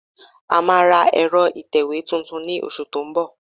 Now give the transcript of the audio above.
A máa ra ẹ̀rọ ìtẹ̀wé tuntun ní oṣù tó ń bọ̀